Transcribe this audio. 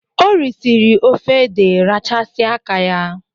O risiri ofe ede rachasia áká ya.